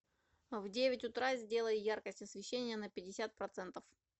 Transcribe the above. в девять утра сделай яркость освещения на пятьдесят процентов